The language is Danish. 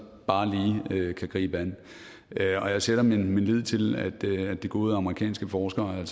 lige kan gribe an jeg sætter min lid til at de gode amerikanske forskere